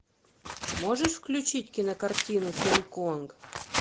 можешь включить кинокартину кинг конг